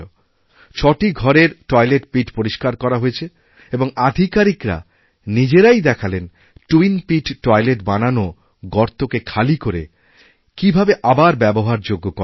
ছটি ঘরের toilet pit পরিস্কার করাহয়েছে এবং আধিকারিকরা নিজেরাই দেখালেন টুইনপিট টয়লেট বানানো গর্তকে খালি করে কীভাবেআবার ব্যবহারযোগ্য করা যায়